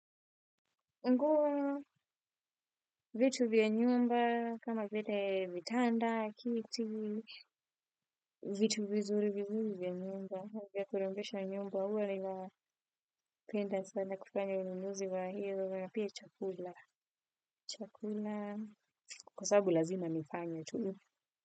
Nguo vitu vya nyumba, kama vile vitanda, kiti, vitu vizuri vizuri vya nyumba, vya kurembesha nyumba huwa ninapenda sana kufanya ununuzi wa hiyo, na pia chakula. Chakula, kwa sababu lazima nifanye tu.